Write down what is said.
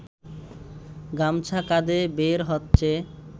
গামছা কাঁধে বের হচ্ছে